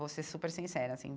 Vou ser super sincera assim.